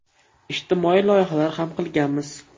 Ijtimoiy loyihalar ham qilganmiz.